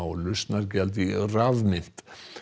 lausnargjald í rafmynt